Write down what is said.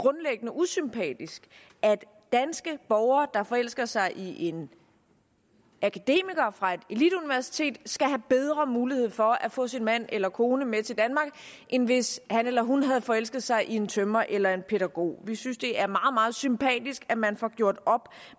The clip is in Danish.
usympatisk at danske borgere der forelsker sig i en akademiker fra et eliteuniversitet skal have bedre mulighed for at få sin mand eller kone med til danmark end hvis han eller hun havde forelsket sig i en tømrer eller i en pædagog vi synes at det er meget meget sympatisk at man får gjort op